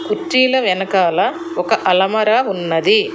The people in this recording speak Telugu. కుర్చీల వెనకాల ఒక అలమర ఉన్నది.